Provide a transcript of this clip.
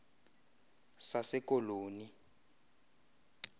sasekoloni